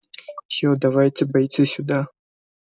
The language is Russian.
всё давай бойцы сюда